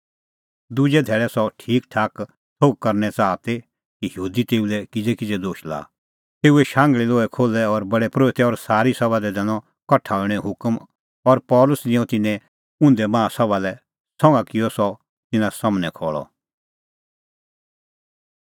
दुजै धैल़ै सह ठीकठीक थोघ करने च़ाहा दी कि यहूदी तेऊ लै किज़ै दोश लाआ तेऊए शांघल़ी लोहै खोल्है और प्रधान परोहित और सारी सभा लै दैनअ कठा हणैंओ हुकम और पल़सी निंयं तिन्नैं उंधै माहा सभा लै संघा किअ सह तिन्नां सम्हनै खल़अ